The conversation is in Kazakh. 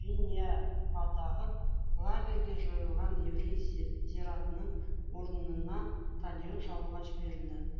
веньявадағы лагерге жойылған еврей зиратының орнына стадион салуға жіберілді